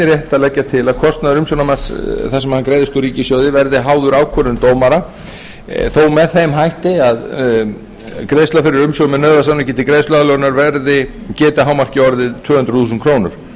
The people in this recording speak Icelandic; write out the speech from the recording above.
að leggja einnig til að kostnaður umsjónarmanns þar sem hann greiðist úr ríkissjóði verði háður ákvörðun dómara þó með þeim hætti að greiðsla fyrir umsjón með nauðasamningi til greiðsluaðlögunar geti að hámarki orðið tvö hundruð þúsund krónur